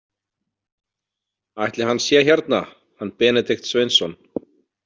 Ætli hann sé hérna, hann Benedikt Sveinsson?